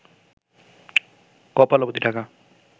কপাল অবধি ঢাকা